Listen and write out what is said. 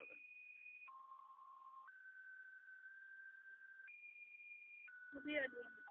খুবই